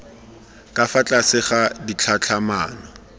ka fa tlase ga ditlhatlhamano